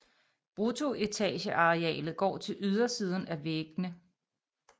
Bruttoetagearealet går til ydersiden af væggene